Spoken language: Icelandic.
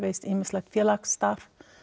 ýmislegt félagsstarf